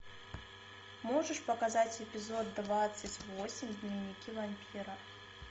можешь показать эпизод двадцать восемь дневники вампира